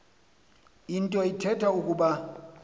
nto ithetha ukuba